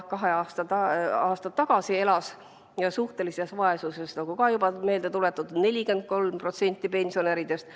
Kaks aastat tagasi elas suhtelises vaesuses, nagu ka juba meelde tuletatud, 43% pensionäridest.